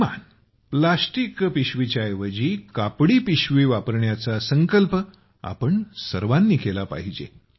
कमीत कमी प्लॅस्टिकच्या पिशवीच्या ऐवजी कपड्याची पिशवी वापरण्याच संकल्प आम्हाला सर्वांना केला पाहिजे